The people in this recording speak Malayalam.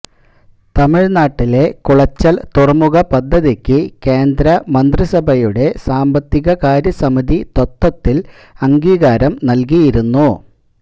തമിഴ്നാട്ടിലെ കുളച്ചല് തുറമുഖപദ്ധതിക്ക് കേന്ദ്രമന്ത്രിസഭയുടെ സാമ്പത്തികകാര്യ സമിതി തത്വത്തില് അംഗീകാരം നല്കിയിരുന്നു